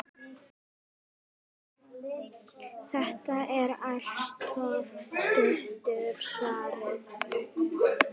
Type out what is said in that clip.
Þetta er altso stutta svarið.